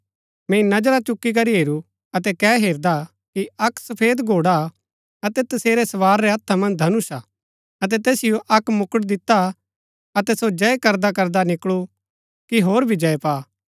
मैंई नजरा चुकी करी हेरू अतै कै हेरदा कि अक्क सफेद घोड़ा हा अतै तसेरै सवार रै हत्था मन्ज धनुष हा अतै तैसिओ अक्क मुकुट दिता हा अतै सो जय करदा करदा निकळू कि होर भी जय पा